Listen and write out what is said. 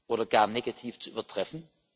oder gar negativ zu übertreffen.